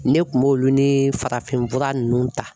Ne kun b'olu nii farafin fura ninnu .